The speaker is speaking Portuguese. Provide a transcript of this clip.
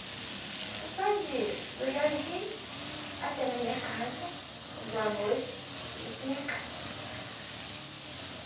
Mas só de ir do jardim até na minha casa, boa noite, ia para minha casa.